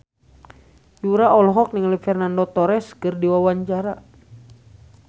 Yura olohok ningali Fernando Torres keur diwawancara